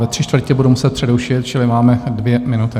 Ve tři čtvrtě budu muset přerušit, čili máme dvě minuty.